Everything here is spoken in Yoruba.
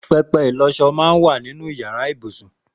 Pẹpẹ ilọṣọ mà n wà ninú iyàrá ibúsún